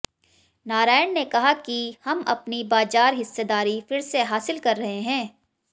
नारायण ने कहा कि हम अपनी बाजार हिस्सेदारी फिर से हासिल कर रहे हैं